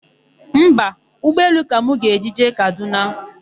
Mba, ụgbọelu ka m ga-eji jee Kadụna.